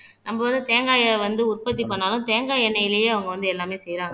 நம்ம வந்து தேங்காயை வந்து உற்பத்தி பண்ணாலும் தேங்காய் எண்ணெயிலேயே அவங்க வந்து எல்லாமே செய்யறாங்க